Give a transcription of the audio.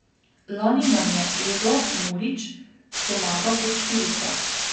Lani nam je Edo Murić pomagal kot štirica.